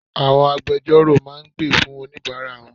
Àwọn agbejọ́rò máa gbè fún oníbàárà wọn.